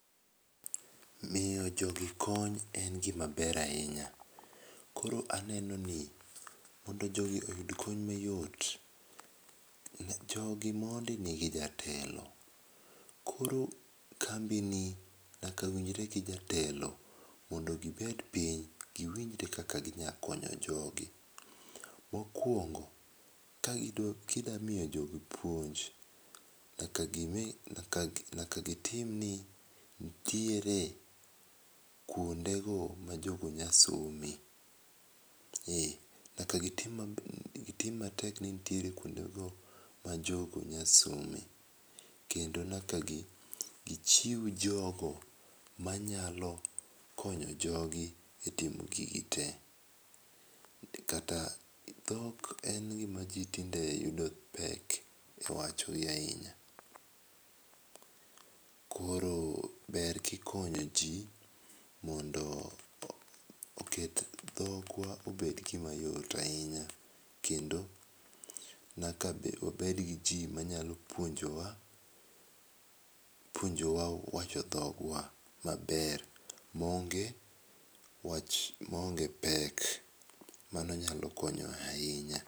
Miyo jogi kony en gima ber ahinya. Koro aneno ni mondo jogi oyud kony mayot. Jogi mondi nigi jatelo. Koro kambi ni nyaka winjre gi jatelo mondo gibed piny giwinjre kaka ginya konyo jogi. Mokwongo gidwa kidwa miyo jogi puonj nyaka gitim ni nitiere kuonde go ma jogo nya some. E nyaka gitim matek ni nitiere kuonde go ma jogo nyasome. Kendo nyak gichiw jogo manyalo konyo jogi e timo gigi te. Kat dhok en gima tinde yudo pek e wacho iye ahinya. Koro ber kikonyo ji mondo oket dhokwa obed gima yot ahinya kendo nyaka obed gi ji manyalo puonjowa puonjowa wacho dhogwa maber maonge wach maonge pek. Mano nyalo konyo ahinya.